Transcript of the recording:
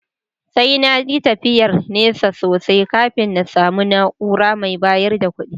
Sai na yi tafiyar nesa sosai kafin na samu na’ura mai bayar da kuɗi